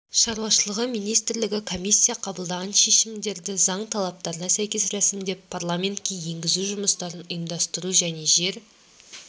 шаруашылығы министрлігі комиссия қабылдаған шешімдерді заң талаптарына сәйкес рәсімдеп парламентке енгізу жұмыстарын ұйымдастыру және жер